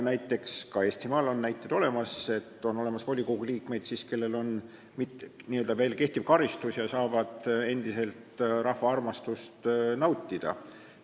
Ka Eestimaal on näiteid volikogu liikmetest, kellel on veel kehtiv karistus ja kes saavad endiselt rahva armastust nautida.